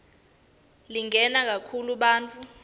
lingena kakhulu bantfu